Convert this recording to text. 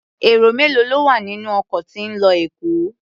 Èrò mélòó ló wà nínú ọkọ̀ tí ń lọ Èkó?